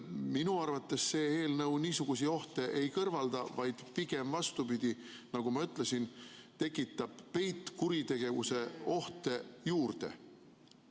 Minu arvates see eelnõu niisuguseid ohte ei kõrvalda, vaid pigem vastupidi, nagu ma ütlesin, tekitab peitkuritegevuse ohte juurde.